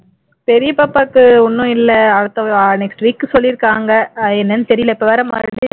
பெரிய பாப்பாவுக்கு இன்னும் இல்லை அடுத்த next week சொல்லிருக்காங்க என்னன்னு தெரியலை இப்போ வேற மறுபடியும்